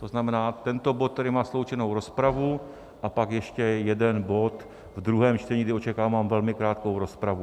To znamená, tento bod, který má sloučenou rozpravu, a pak ještě jeden bod v druhém čtení, kdy očekávám velmi krátkou rozpravu.